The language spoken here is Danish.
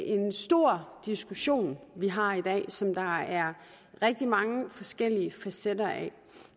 en stor diskussion vi har i dag som der er rigtig mange forskellige facetter af